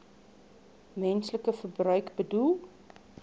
menslike verbruik bedoel